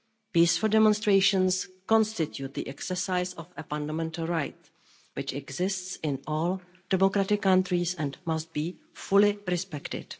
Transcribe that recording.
Peaceful demonstrations constitute the exercise of a fundamental right which exists in all democratic countries and must be fully respected.